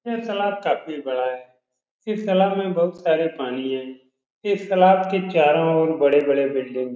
यह तलाब काफ़ी बड़ा है। इस तैलाब में बहुत सारे पानी है। इस तैलाब के चारों और बड़े-बड़े बिल्डिंग --